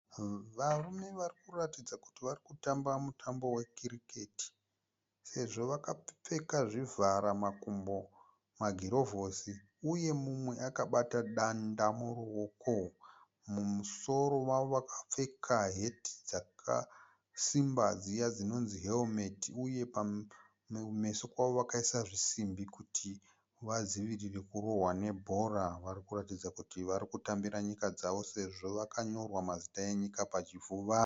Varume varikuratidza kuti varikutamba mutambo we kiriketi. Sezvo vakapfeka zvivhara makumbo, magirovhosi uye mumwe akabata danda muruoko. Mumusoro wavo vakapfeka heti dzakasimba dziya dzinonzi herimeti uye mumeso kwavo vakaisa simbi kuti vadzivirire kurohwa nebhora. Varikuratidza kuti varikutambira nyika dzavo sezvo vakanyorwa mazita enyika pachipfuva.